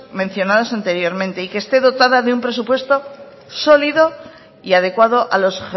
mencionados anteriormente y que esté dotada de un presupuesto sólido y adecuado a los